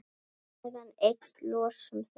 Á meðan eykst losun þess.